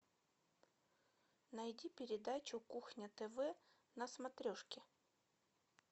найди передачу кухня тв на смотрешке